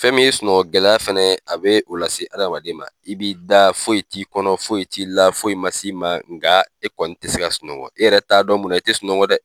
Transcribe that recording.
Fɛn min ye sunɔgɔ gɛlɛya fɛnɛ, a b'o lase adamaden ma. I b'i da foyi t'i kɔnɔ, foyi t'i la ,foyi ma s'i ma .Nga e kɔni te se ka sunɔgɔ e yɛrɛ t'a dɔn mun na i te sunɔgɔ dɛ!